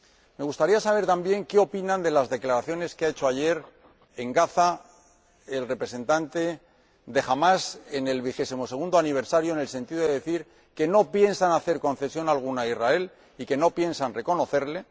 Me gustaría saber también qué opinan de las declaraciones que hizo ayer en Gaza el representante de Hamás, en el vigesimosegundo aniversario, en el sentido de decir que no piensan hacer concesión alguna a Israel y que no piensan reconocerlo.